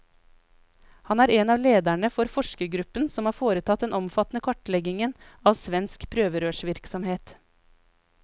Han er en av lederne for forskergruppen som har foretatt den omfattende kartleggingen av svensk prøverørsvirksomhet.